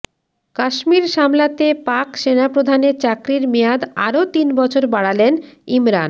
কাশ্মীর সামলাতে পাক সেনাপ্রধানের চাকরির মেয়াদ আরও তিন বছর বাড়ালেন ইমরান